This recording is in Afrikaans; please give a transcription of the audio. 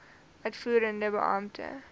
uitvoerende beampte voorlê